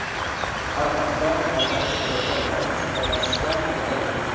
Har hafta notanish odamlar bilan suhbatlashishga harakat qiling.